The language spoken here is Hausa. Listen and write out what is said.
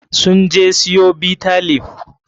Sun je siyo Bitter leaf.